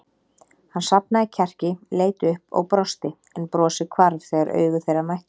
Hann safnaði kjarki, leit upp og brosti en brosið hvarf þegar augu þeirra mættust.